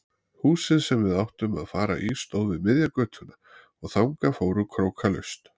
Húsið sem við áttum að fara í stóð við miðja götuna og þangað fóru krókalaust.